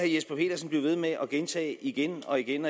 jesper petersen blive ved med at gentage igen og igen